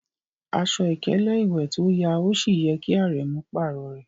Aṣọ̀ ikèlè-iwé tó yà òṣì yẹ̀ kí Árẹ̀mú párọ̀ rẹ.